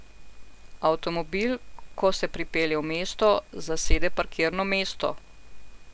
Avtomobil, ko se pripelje v mesto, zasede parkirno mesto.